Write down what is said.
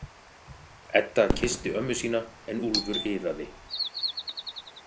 Edda kyssti ömmu sína en Úlfur iðaði.